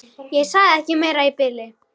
Ég sagði ekki meira í bili.